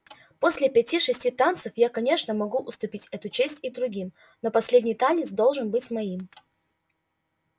после пяти шести танцев я конечно могу уступить эту честь и другим но последний танец должен быть моим